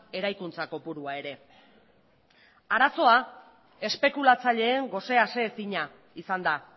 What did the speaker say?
eraikuntza kopurua ere arazoa espekulatzaileen gose aseezina izan da